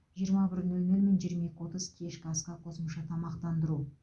жиырма бір нөл нөл мен жиырма екі отыз кешкі асқа қосымша тамақтандыру